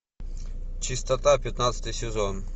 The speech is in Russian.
чистота пятнадцатый сезон